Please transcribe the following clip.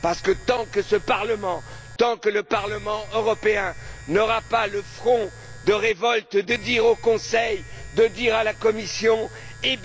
Parce qu'aussi longtemps que ce Parlement, le Parlement européen, n'ira pas au front de la révolte pour dire au Conseil et la Commission qu'il